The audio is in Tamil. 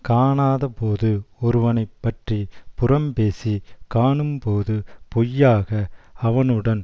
காணாதபோது ஒருவனை பற்றி புறம்பேசிக் காணும்போது பொய்யாக அவனுடன்